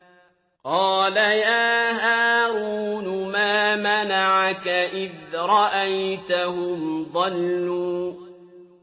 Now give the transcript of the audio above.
قَالَ يَا هَارُونُ مَا مَنَعَكَ إِذْ رَأَيْتَهُمْ ضَلُّوا